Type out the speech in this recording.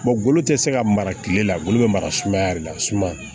golo tɛ se ka mara tile la ngolo bɛ mara sumaya de la